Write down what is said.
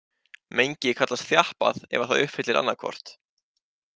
Mengi kallast þjappað ef að það uppfyllir annað hvort.